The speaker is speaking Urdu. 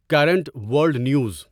current world news